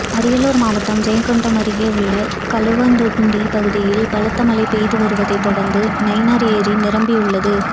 அரியலூர் மாவட்டம் ஜெயங்கொண்டம் அருகே உள்ள கழுவந்தோண்டி பகுதியில் பலத்த மழை பெய்து வருவதை தொடர்ந்து நைனார் ஏரி நிரம்பியுள்ளது